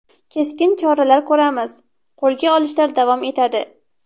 Keskin choralar ko‘ramiz, qo‘lga olishlar davom etadi.